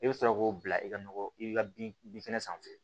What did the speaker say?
I bɛ sɔrɔ k'o bila i ka nɔgɔ i ka bin bin kɛnɛ sanfɛ